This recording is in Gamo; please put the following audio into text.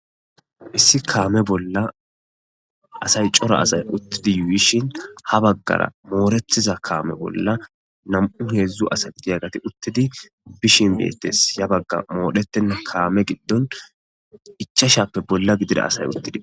Issi kaame bolla asay cora asay uttidi yuuyishin ha baggara mooretiza kaame bolla nam'u heedzdzu asa idi agati uttidi bishin beetes ya bagga moodheten kaame giddon ichashappe bolla gidida asay uttidi